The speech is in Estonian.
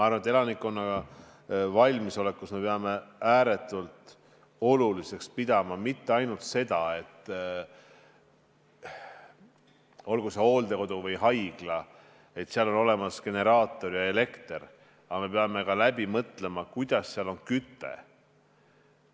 Ja elanikkonna valmisoleku tagamisel me peame ääretult oluliseks pidama mitte ainult seda, et olgu see hooldekodu või haigla, seal peab olemas olema generaator ja elekter, vaid me peame ka läbi mõtlema, kuidas seal tagada küte.